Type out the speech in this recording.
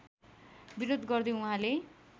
विरोध गर्दै उहाँले